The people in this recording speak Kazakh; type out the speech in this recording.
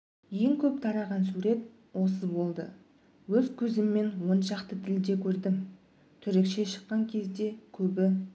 ең көп тараған осы сурет болды өз көзіммен он шақты тілде көрдім түрікше шыққан кезде көбі